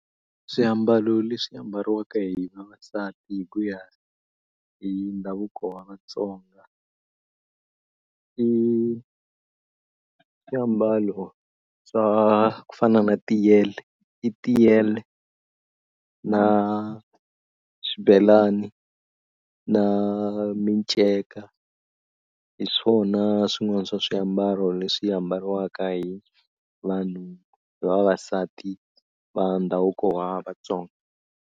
Swiambalo leswi ambariwaka hi vavasati hi ku ya hi ndhavuko wa Vatsonga i swiambalo swa ku fana na tiyele i tiyele na swibelani na minceka hi swona swin'wana swa swiambalo leswi ambariwaka hi vanhu hi vavasati va ndhavuko wa Vatsonga.